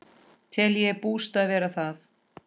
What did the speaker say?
Tel ég bústað vera það.